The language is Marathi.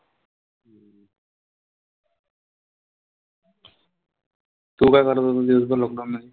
तू काय करत होता दिवसभर lockdown मधी?